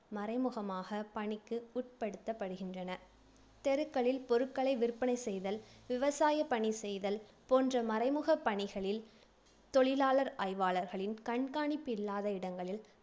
மறைமுகமாக பணிக்கு உட்படுத்தப்படுகின்றனர். தெருக்களில் பொருட்களை விற்பனை செய்தல், விவசாயப் பணி செய்தல் போன்ற மறைமுகப் பணிகளில், தொழிலாளர் ஆய்வாளர்களின் கண்காணிப்பு இல்லாத இடங்களில்